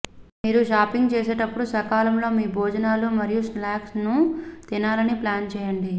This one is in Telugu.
మీరు షాపింగ్ చేసేటప్పుడు సకాలంలో మీ భోజనాలు మరియు స్నాక్స్లను తినాలని ప్లాన్ చేయండి